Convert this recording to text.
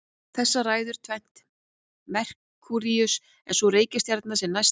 Þessu ræður tvennt: Merkúríus er sú reikistjarna sem næst er sólinni.